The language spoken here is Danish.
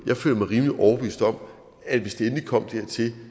jeg føler mig rimelig overbevist om at hvis det endelig kommer dertil